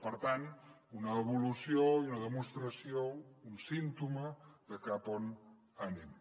per tant una evolució i una demostració un símptoma de cap a on anem